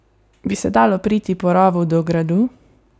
Bi se dalo priti po rovu do gradu?